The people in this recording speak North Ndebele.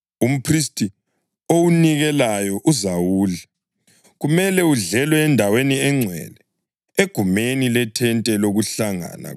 Umphristi owunikelayo uzawudla; kumele udlelwe endaweni engcwele egumeni lethente lokuhlangana.